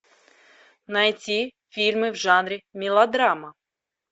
найти фильмы в жанре мелодрама